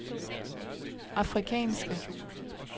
afrikanske